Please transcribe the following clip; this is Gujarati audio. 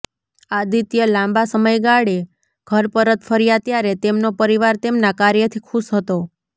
આદિત્ય લાંબા સમયગાળે ઘર પરત ફર્યા ત્યારે તેમનો પરિવાર તેમના કાર્યથી ખુશ હતો